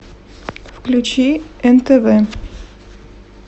включи нтв